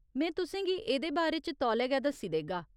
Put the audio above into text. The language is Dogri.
में तुसें गी एह्दे बारे च तौले गै दस्सी देगा।